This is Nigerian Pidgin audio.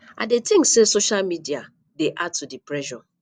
i dey think say social media dey add to di pressure